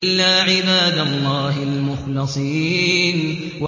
إِلَّا عِبَادَ اللَّهِ الْمُخْلَصِينَ